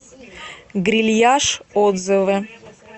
грильяж отзывы